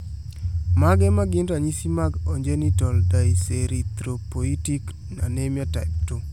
Mage magin ranyisi mag ongenital dyserythropoietic anemia type 2?